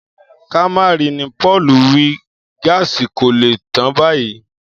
Ká má ri ni Pò̩ò̩lù wí, gáàsì kò lè tán báyìí